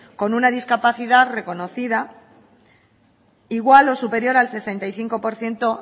con una discapacidad reconocida igual o superior al sesenta y cinco por ciento